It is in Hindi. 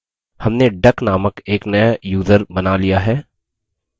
हमने duck नामक एक नया यूज़र बना लिया है